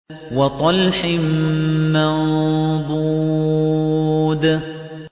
وَطَلْحٍ مَّنضُودٍ